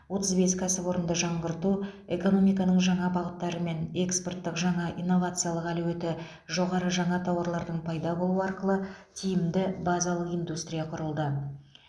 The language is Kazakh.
отыз бес кәсіпорынды жаңғырту экономиканың жаңа бағыттары мен экспорттық және инновациялық әлеуеті жоғары жаңа тауарлардың пайда болуы арқылы тиімді базалық индустрия құрылды